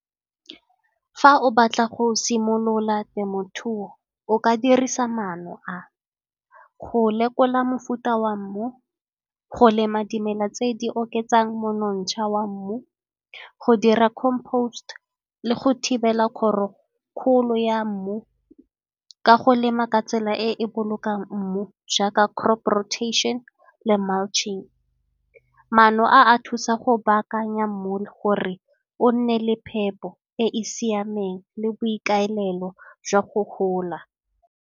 Fa o batla go simolola temothuo o ka dirisa maano a, go lekola mofuta wa mmu, go lema dimela tse di oketsang monontsha wa mmu, go dira le go thibela kgolo ya mmu ka go lema ka tsela e e bolokang mmu jaaka crop rotation le . Maano a a thusa go baakanya mmu le gore o nne le phepo e e siameng le boikaelelo jwa go gola.